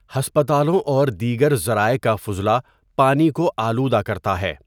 ہسپتالوں اور دیگر ذرائع کا فضلہ پانی کو آلودہ کرتا ہے۔